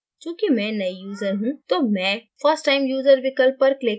चूँकि मैं नयी यूजर हूँ तो मैं first time user विकल्प पर click करूँगी